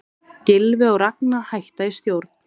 Gylfi og Ragna hætta í stjórn